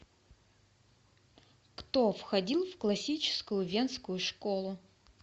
кто входил в классическую венскую школу